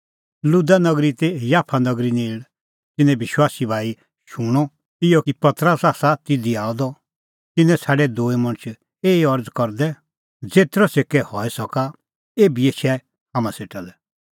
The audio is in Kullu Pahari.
लुदा नगरी ती याफा नगरी नेल़ तिन्नैं विश्वासी भाई शूणअ इहअ कि पतरस आसा तिधी आअ द तिन्नैं छ़ाडै दूई मणछ एही अरज़ करदै ज़ेतरअ छ़ेकै हई सका एभी एछै हाम्हां सेटा लै